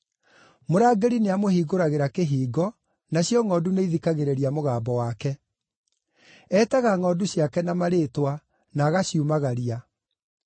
Mũrangĩri nĩamũhingũragĩra kĩhingo, nacio ngʼondu nĩithikagĩrĩria mũgambo wake. Eetaga ngʼondu ciake na marĩĩtwa, na agaciumagaria.